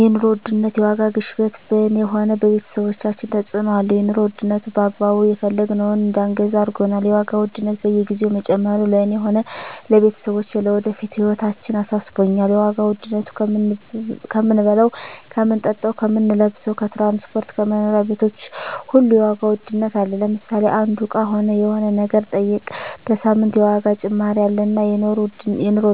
የኑሮ ውድነት የዋጋ ግሽበት በኔ ሆነ በቤተሰቦቻችን ተጽእኖ አለው የኑሮ ዉድነቱ በአግባቡ የፈለግነውን እዳንገዛ አርጎናል የዋጋ ውድነት በየግዜው መጨመሩ ለእኔ ሆነ ለቤተሰቦቸ ለወደፊት ህይወታችን አሳስቦኛል የዋጋ ዉድነቱ ከምንበላው ከምንጠጣው ከምንለብሰው ከትራንስፖርት ከመኖሪያ ቤቶች ሁሉ የዋጋ ውድነት አለ ለምሳሌ አንዱ እቃ ሆነ የሆነ ነገር ጠይቀ በሳምንት የዋጋ ጭማሪ አለ እና የኖሩ